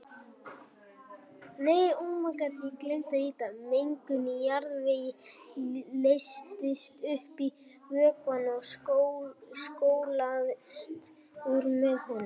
Mengun í jarðvegi leysist upp í vökvanum og skolast úr með honum.